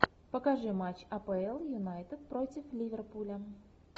покажи матч апл юнайтед против ливерпуля